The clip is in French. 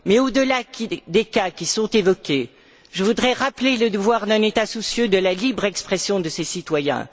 Mais au delà des cas qui sont évoqués, je voudrais rappeler le devoir d'un État soucieux de la libre expression de ses citoyens.